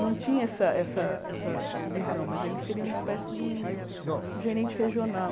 Não tinha essa essa essa divisão, mas ele seria uma espécie de um gerente regional.